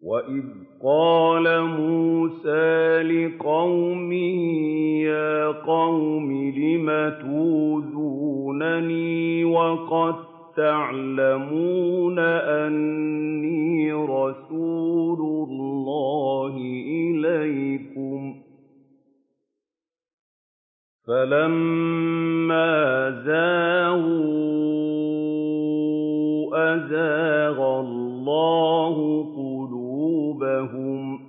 وَإِذْ قَالَ مُوسَىٰ لِقَوْمِهِ يَا قَوْمِ لِمَ تُؤْذُونَنِي وَقَد تَّعْلَمُونَ أَنِّي رَسُولُ اللَّهِ إِلَيْكُمْ ۖ فَلَمَّا زَاغُوا أَزَاغَ اللَّهُ قُلُوبَهُمْ ۚ